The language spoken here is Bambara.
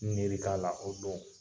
N miiri t'a la o don.